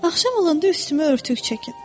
Axşam olanda üstümə örtük çəkin.